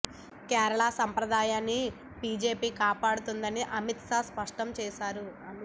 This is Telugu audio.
కేరళ సంప్రదాయాన్ని బీజేపీ కాపాడుతుందని అమిత్ షా స్పష్టం చేశారు